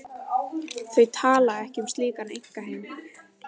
Þau tala ekki um slíkan einkaheim.